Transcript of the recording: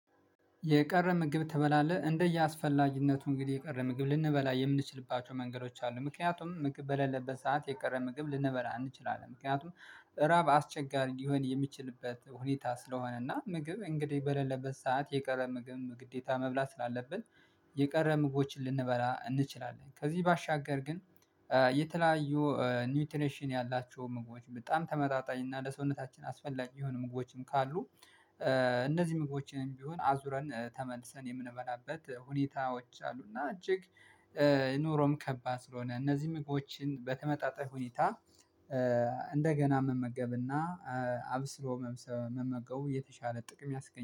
የቀረ ምግብ ትበላለህ? እንደየአስፈላጊነቱ እንግዲህ የቀረ ምግብ ልንበላ የምንችልባቸው መንገዶች አሉ ምክንያቱም ምግብ በሌለበት ሰዓት የቀረ ምግብ ልንበላ እንችላለን። ምክንያቱም እራብ አስቸጋሪ ሊሆን የሚችልበት ሁኔታ ስለሆነና ምግብ እንግዲህ በሌለበት ሰዓት የቀረ ምግብ ግዴታ መብላት ስላለብን። የቀረ ምግቦችን ልንበላ እንችላለን ከዚህ ባሻገር ግን የተለያዩ ኒውትሬሽን ያላቸው ምግቦች በጣም ተመጣጣኝ እና ለሰውነታችን አስፈላጊ የሆኑ ምግቦችም ካሉ እነዚህ ምግቦችንም ቢሆን አዙረን ተመልሰን የምንበላበት ሁኔታዎች አሉ። እና እጅግ ኑሮም ከባድ ስለሆነ እነዚህ ምግቦችን በተመጣጣኝ ሁኔታ እንደገና መመገብና አብስሎ መመገቡ የተሻለ ጥቅም ያስገኛል